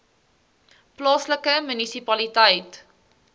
plaaslike munisipaliteit